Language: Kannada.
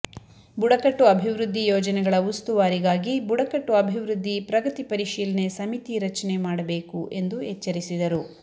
ಬುಡಕಟ್ಟು ಅಭಿವೃದ್ಧಿ ಯೋಜನೆಗಳ ಉಸ್ತುವಾರಿಗಾಗಿ ಬುಡಕಟ್ಟು ಅಭಿವೃದ್ಧಿ ಪ್ರಗತಿ ಪರಿಶೀಲನೆ ಸಮಿತಿ ರಚನೆ ಮಾಡಬೇಕು ಎಂದು ಎಚ್ಚರಿಸಿದರು